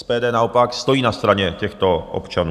SPD naopak stojí na straně těchto občanů.